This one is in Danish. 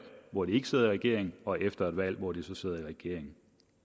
hvor de ikke sidder i regering og efter et valg hvor de så sidder i regering